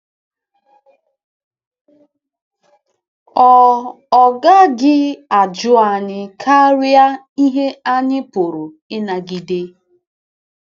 Ọ, Ọ gaghị ajụ anyị karịa ihe anyị pụrụ ịnagide.